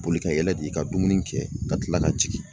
Boli ka yɛlɛ di ka dumuni kɛ ka tila ka jigin.